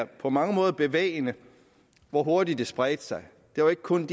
på mange måder er bevægende hvor hurtigt det spredte sig det var ikke kun